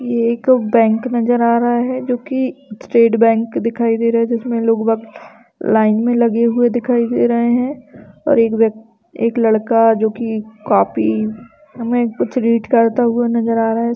ये एक बैंक नजर आ रहा है जोकि स्टेट बैंक दिखाई दे रहे हैं। जिसमें लोग बहुत लाइन में लगे हुए दिखाई दे रहे है और एक व्यक एक लड़का जोकि काफी समय से कुछ रीड करता हुआ नजर आ रहा है।